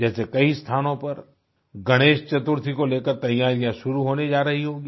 जैसे कई स्थानों पर गणेश चतुर्थी को लेकर तैयारियाँ शुरू होने जा रही होंगी